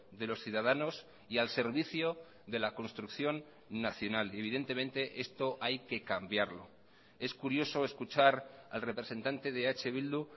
de los ciudadanos y al servicio de la construcción nacional y evidentemente esto hay que cambiarlo es curioso escuchar al representante de eh bildu